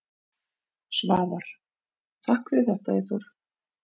Svavar: Takk fyrir þetta Eyþór.